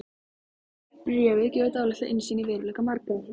Bréfið gefur dálitla innsýn í veruleika margra.